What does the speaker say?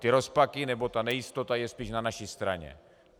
Ty rozpaky, nebo ta nejistota je spíš na naší straně.